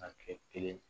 A kɛ kelen